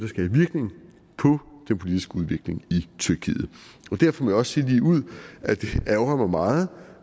politiske udvikling i tyrkiet derfor må jeg også sige ligeud at det ærgrer mig meget